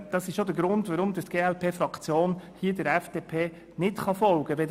Das ist auch der Grund, warum die glpFraktion der FDP hier nicht folgen kann.